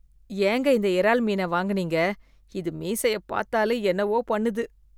ஏங்க இந்த இறால் மீனை வாங்குனீங்க? இது மீசைய பார்த்தாலே என்னவோ பண்ணுது.